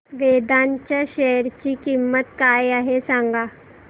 वेदांत च्या शेअर ची किंमत काय आहे सांगा